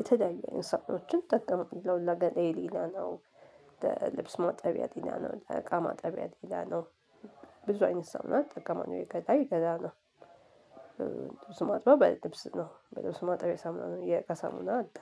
የተለያዬ አይነት ሳሙናዎችን እጠቀማለሁ ለገላዬ ሌላ ነው ለልብስ ማጠቢያ ሌላ ነው ለእቃ ማጠቢያ ሌላ ነው። ብዙ አይነት ሳሙና እጠቀማለሁ የገላ የገላ ነው። ልብስ የማጥበው የልብስ ነው በልብስ ማጠቢያ ሳሙና ነው የእቃ ሳሙና አለ።